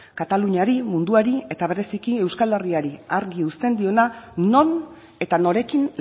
kataluniari munduari eta bereziki euskal herriari argi uzten diona non eta norekin